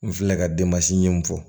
N filɛ ka den masi ɲi fɔ